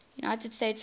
united states house